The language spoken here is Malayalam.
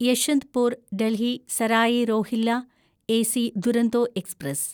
Yeshwantpur Delhi Sarai Rohilla AC Duronto express